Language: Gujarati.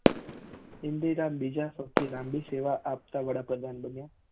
ઇન્દિરા બીજા સૌ થી લાંબી સેવા આપતા વડા પ્રધાન બન્યા